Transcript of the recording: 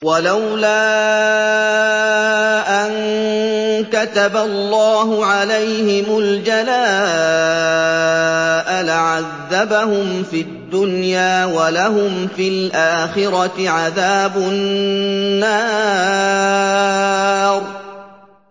وَلَوْلَا أَن كَتَبَ اللَّهُ عَلَيْهِمُ الْجَلَاءَ لَعَذَّبَهُمْ فِي الدُّنْيَا ۖ وَلَهُمْ فِي الْآخِرَةِ عَذَابُ النَّارِ